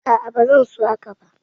A'a ba zan so haka ba